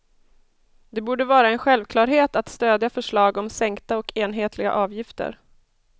Det borde vara en självklarhet att stödja förslag om sänkta och enhetliga avgifter.